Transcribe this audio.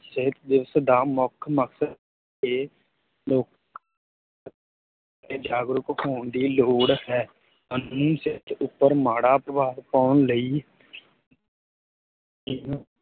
ਸਿਹਤ ਦਿਵਸ ਦਾ ਮੁੱਖ ਮਕਸਦ ਤੇ ਮੁੱਖ ਤੇ ਜਾਗਰੂਕ ਹੋਣ ਦੀ ਲੋੜ ਹੈ ਉੱਪਰ ਮਾੜਾ ਪ੍ਰਭਾਵ ਪਾਉਣ ਲਈ ਇਹਨੂੰ